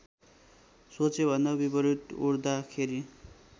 सोचेभन्दा विपरीत उड्दाखेरि